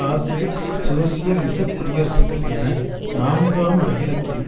ஆசிய சோசியலிசக் குடியரசுகள் என நான்காம் அகிலத்தின்